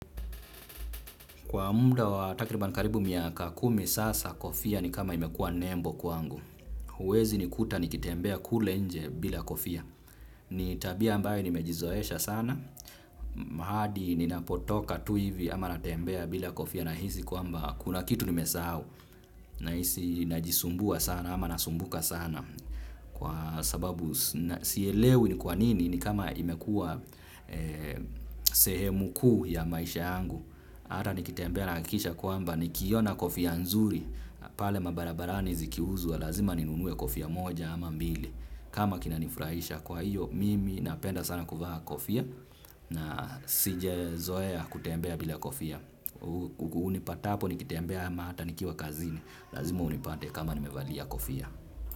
Kwa munda watakiribana karibu miaka kumi sasa kofia ni kama imekuwa nembo kwangu. Huwezi nikuta nikitembea kule nje bila kofia. Ni tabia ambayo ni mejizoesha sana. Mahadi ninapotoka tuivi ama natembea bila kofia na hizi kwamba kuna kitu nimesa hau. Na hisi najisumbua sana ama nasumbuka sana. Kwa sababu siyelewi ni kwanini ni kama imekuwa sehemu kuu ya maisha angu. Hata nikitembea nahakikisha kwamba nikiona kofia nzuri pale mabarabarani zikiuzwa lazima ninunue kofia moja ama mbili. Kama kina nifraisha kwa hiyo mimi napenda sana kuvaa kofia. Na sije zoea kutembea bila kofia. Unipatapo nikitembea ama hata nikiwa kazini lazima unipate kama nimevalia kofia.